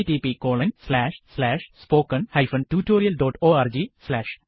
httpspoken tutorialorg